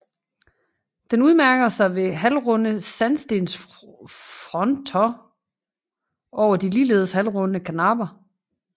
Den udmærker sig ved halvrunde sandstensfrontoner over de ligeledes halvrunde karnapper